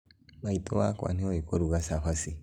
Maitũ wakwa nĩũi kũruga cabaci